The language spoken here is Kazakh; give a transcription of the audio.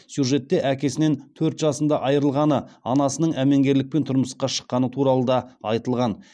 сюжетте әкесінен төрт жасында айырылғаны анасының әмеңгерлікпен тұрмысқа шыққаны туралы да айтылған